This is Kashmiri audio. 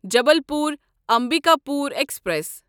جبلپور امبکاپور ایکسپریس